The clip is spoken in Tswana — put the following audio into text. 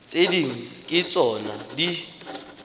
tse dingwe ke tsona di